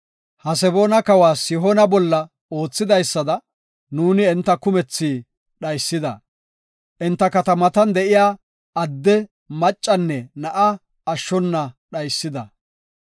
Haseboona kawa Sihoona bolla oothidaysada nuuni enta kumethi dhaysida. Enta katamatan de7iya adde, maccanne na7a ashshona dhaysida.